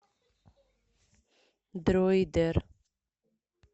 дройдер